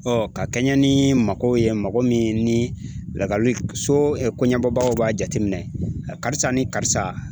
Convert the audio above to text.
ka kɛɲɛ ni magow ye mago min ni lakali so koɲɛnabɔbagaw b'a jateminɛ a karisa ni karisa